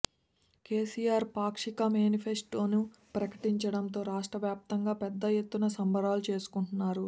కేసీఆర్ పాక్షిక మేనిఫెస్టోను ప్రకటించడంతో రాష్ట్ర వ్యాప్తంగా పెద్ద ఎత్తున సంబరాలు చేసుకుంటున్నారు